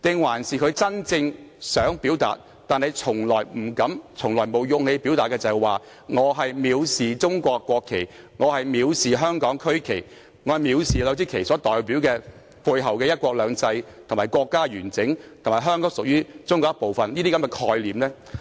還是他真正想表達，但從來不敢亦沒有勇氣表達的是他藐視中國國旗、香港區旗，以及這兩支旗背後所代表的"一國兩制"、國家完整，以及香港屬於中國一部分的概念呢？